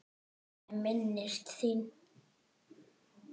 Ég minnist þín.